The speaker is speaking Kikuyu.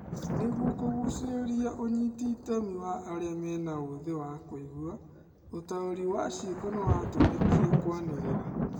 Nĩguo kũgucĩruria ũnyiti itemi wa arĩa mena ũthĩ wa kũigua, ũtaũri wa ciĩko nĩwatũmĩkire kwanĩrĩra